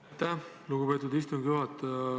Aitäh, lugupeetud istungi juhataja!